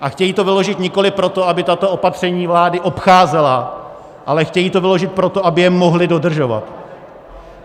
A chtějí to vyložit nikoli proto, aby tato opatření vlády obcházeli, ale chtějí to vyložit proto, aby je mohli dodržovat.